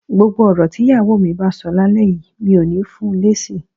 Gbogbo ọ̀rọ̀ tí ìyàwó mi bá sọ lálẹ́ yìí, mi ò ní fun lésì